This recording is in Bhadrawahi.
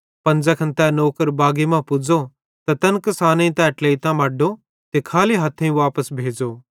पन ज़ैखन तै नौकर बागी मां पुज़्ज़ो त तैन किसानेईं तै ट्लेइतां मड्डो त खाली हथ्थेइं वापस भेज़ो